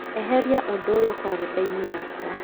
eheria ũndũ ũyũ karenda-inĩ yakwa